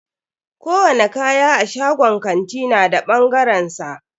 Kowani kaya a shagon kanti na da bangaren sa.